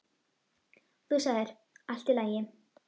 Þú sagðir: Allt í lagi.